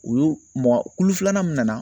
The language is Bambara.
U y'u mɔ kulu filanan min na.